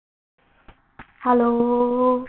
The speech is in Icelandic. Hún dró gluggatjöldin fyrir og kom til mín.